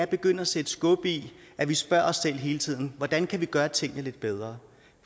begynder at sætte skub i at vi spørger os selv hele tiden hvordan kan vi gøre tingene lidt bedre